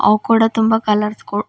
ಅವ ಕೂಡ ತುಂಬ ಕಲರ್ಸ್ ಗೋ--